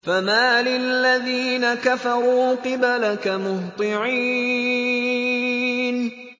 فَمَالِ الَّذِينَ كَفَرُوا قِبَلَكَ مُهْطِعِينَ